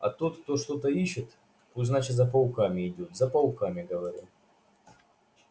а тот кто что-то ищет пусть значит за пауками идёт за пауками говорю